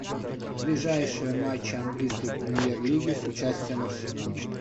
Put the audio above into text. ближайшие матчи английской премьер лиги с участием арсенала